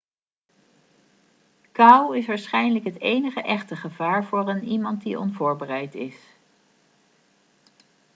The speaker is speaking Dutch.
kou is waarschijnlijk het enige echte gevaar voor een iemand die onvoorbereid is